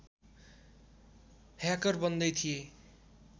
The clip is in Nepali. ह्याकर बन्दै थिए